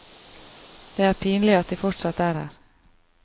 Det er pinlig at de fortsatt er her.